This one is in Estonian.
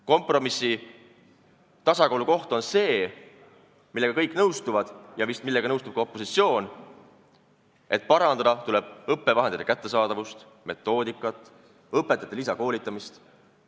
Kompromissi tasakaalukoht on see, millega kõik nõustuvad – vist nõustub ka opositsioon –, et parandada tuleb õppevahendite kättesaadavust, metoodikat ja õpetajate lisakoolitamist.